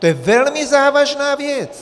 To je velmi závažná věc!